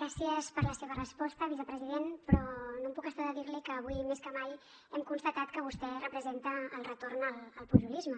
gràcies per la seva resposta vicepresident però no em puc estar de dirli que avui més que mai hem constatat que vostè representa el retorn al pujolisme